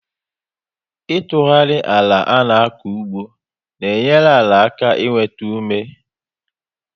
Itughari àlà ana-aku ugbo n'enyere àlà aka i nwétá ume